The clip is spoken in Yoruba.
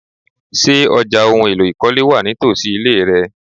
Ṣé ọjà oun ìkọ́lé wà nítosi ile rẹ?